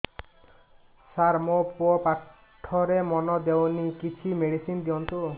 ସାର ମୋର ପୁଅ ପାଠରେ ମନ ଦଉନି କିଛି ମେଡିସିନ ଦିଅନ୍ତୁ